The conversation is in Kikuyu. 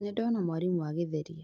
Nĩndona mwarimũ agĩtheria